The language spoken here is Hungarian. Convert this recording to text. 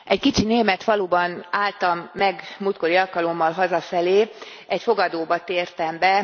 Egy kicsi német faluban álltam meg a múltkori alkalommal hazafelé, egy fogadóba tértem be.